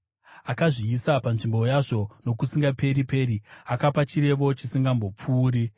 Akazviisa panzvimbo yazvo nokusingaperi-peri, akapa chirevo chisingazombopfuuri.